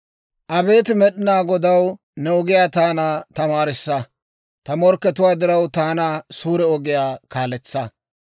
Abeet Med'inaa Godaw, ne ogiyaa taana tamaarissa; ta morkkatuwaa diraw, taana suure ogiyaa kaaletsa.